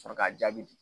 Sɔrɔ k'a jaabi di